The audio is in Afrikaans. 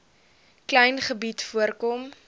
klein gebied voorkom